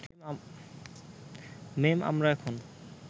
মেম আমরা এখন